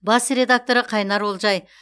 бас редакторы қайнар олжай